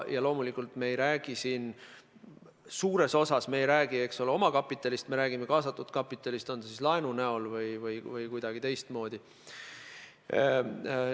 Ja loomulikult me ei räägi siin suures osas omakapitalist, me räägime kaastatud kapitalist, on see siis laenu näol või kuidagi teistmoodi.